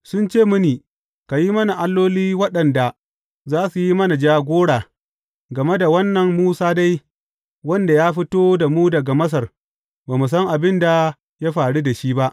Sun ce mini, Ka yi mana alloli waɗanda za su yi mana jagora, game da wannan Musa dai, wanda ya fito da mu daga Masar, ba mu san abin da ya faru da shi ba.’